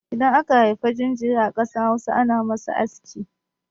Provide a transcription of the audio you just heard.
Idan aka haifa jinjiri a ƙasar Hausa, ana masa aski.